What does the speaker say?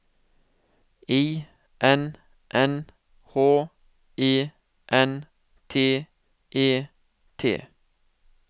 I N N H E N T E T